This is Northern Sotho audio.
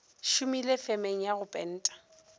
šomile femeng ya go penta